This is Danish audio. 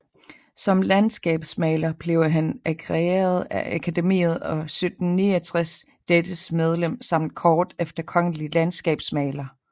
Som landskabsmaler blev han agreeret af Akademiet og 1769 dettes medlem samt kort efter kongelig landskabsmaler